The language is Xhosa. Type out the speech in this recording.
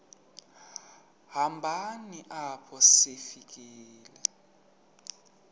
hambeni apho sifika